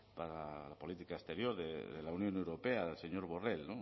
para la política exterior de la unión europea el señor borrel